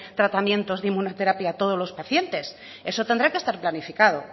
tratamientos de inmunoterapia a todos los pacientes eso tendrá que estar planificado